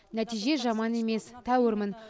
нәтиже жаман емес тәуірмін